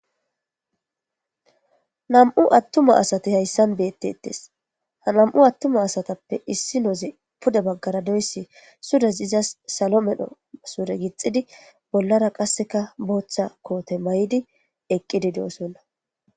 nam7u attuma asati hayssan beettettes ha nam7u attuma asatappe issi nooze pude baggara doyssi surez izas salo medho sure gixidi bollara qasseka booththa koote may7di eqqidi doosonna